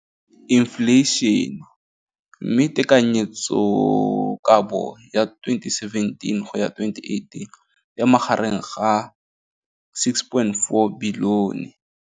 Infleišene, mme tekanyetsokabo ya 2017 go ya 2018 e magareng ga 6.4 bilione.